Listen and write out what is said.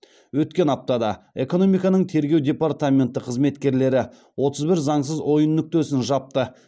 өткен аптада экономиканың тергеу департаменті қызметкерлері отыз бір заңсыз ойын нүктесін жапты